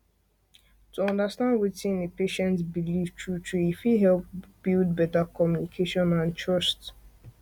to understand wetin a patient believe truetrue e fit help build better communication and trust trust